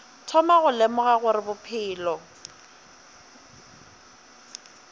thoma go lemoga gore bophelo